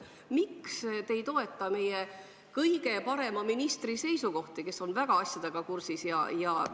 Miks te ei toeta meie kõige parema ministri seisukohti, kes on asjadega väga hästi kursis?